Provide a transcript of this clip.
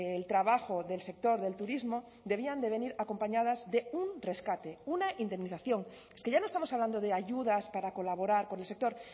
el trabajo del sector del turismo debían de venir acompañadas de un rescate una indemnización es que ya no estamos hablando de ayudas para colaborar con el sector